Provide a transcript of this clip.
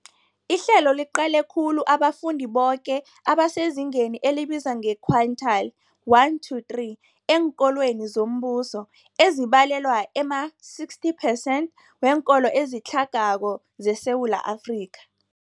Ihlelo liqale khulu abafundi boke abasezingeni elibizwa nge-quintile 1-3 eenkolweni zombuso, ezibalelwa ema-60 percent weenkolo ezitlhagako zeSewula Afrika.